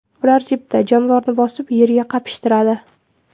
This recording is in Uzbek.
Ular jipda jonivorni bosib, yerga qapishtiradi.